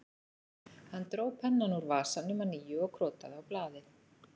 Hann dró pennann úr vasanum að nýju og krotaði á blaðið